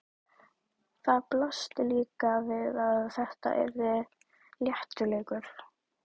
Það blasti líka við að þetta yrði léttur leikur.